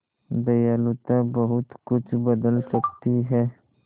दयालुता बहुत कुछ बदल सकती है